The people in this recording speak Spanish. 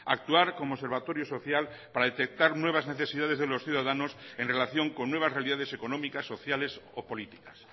actuar como observatorio social para detectar nuevas necesidades de los ciudadanos en relación con nuevas realidades económicas sociales o políticas